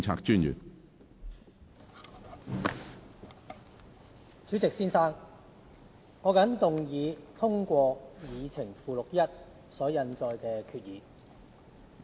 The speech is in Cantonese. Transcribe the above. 主席，我謹動議通過議程附錄1所印載的決議。